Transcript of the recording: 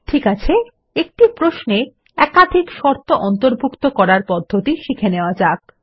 ঠিক আছে একটি প্রশ্নে একাধিক শর্ত অন্তর্ভুক্ত করার পদ্ধতি শিখে নেওয়া যাক